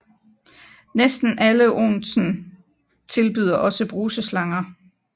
Næsten alle onsen tilbyder også bruseslanger